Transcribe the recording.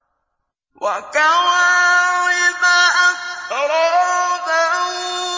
وَكَوَاعِبَ أَتْرَابًا